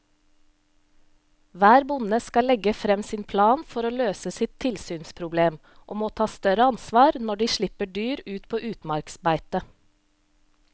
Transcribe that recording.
Hver bonde skal legge frem sin plan for å løse sitt tilsynsproblem og må ta større ansvar når de slipper dyr på utmarksbeite.